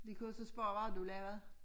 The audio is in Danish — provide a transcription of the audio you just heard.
De kunne så spørge hvad har du lavet